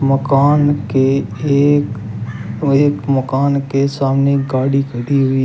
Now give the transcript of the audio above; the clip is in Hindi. मकान के एक व एक मकान के सामने गाड़ी खड़ी हुई है।